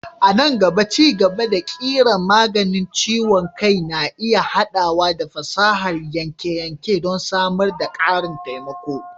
A nan gaba, ci-gaba na ƙirar maganin ciwon kai na iya haɗawa da fasahar yanke-yanke don samar da ƙarin taimako.